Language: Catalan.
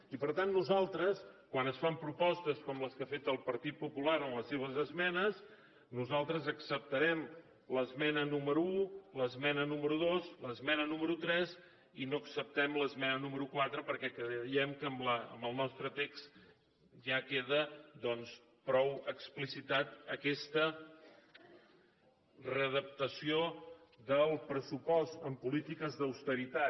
i per tant nosaltres quan es fan propostes com les que ha fet el partit popular en les seves esmenes nosaltres acceptarem l’esmena número un l’esmena núme ro dos l’esmena número tres i no acceptem l’esmena nú mero quatre perquè creiem amb el nostre text ja queda doncs prou explicitada aquesta readaptació del pressupost en polítiques d’austeritat